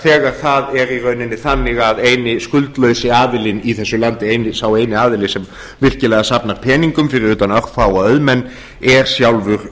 þegar það er í rauninni þannig að eini skuldlausi aðilinn i þessu landi sá eini aðili sem virkilega safnar peningum fyrir utan örfáa auðmenn er sjálfur